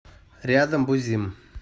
рядом бузим